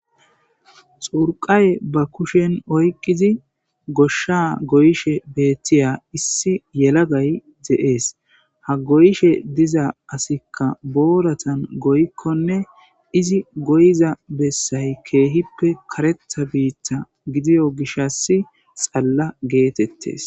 Xurqay ba kushen oyqqidzi goshaha goyishe beetiya issi yelagay dze'es ha goyishe diza asikka boorazan goyikkonne izi goyiza bessay keehippe kareththa biita gidiyo gishassi xalla geetetes.